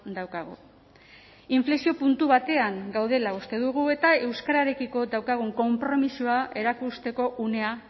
daukagu inflexio puntu batean gaudela uste dugu eta euskararekiko daukagun konpromisoa erakusteko unea